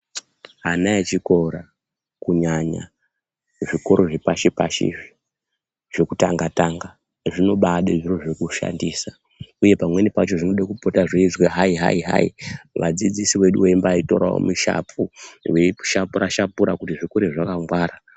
Ana echikora kunyanya kuzvikora zvepashi-pashizvi zvokutanga-tanga zvinobade zviro zvekushandisa, uye pamweni pacho zvinoda kupota zveizwi hai-hai-hai vadzidzisi vedu veimbatoravo mishapu veishapura-shapura kuti zvikure zvakangwara.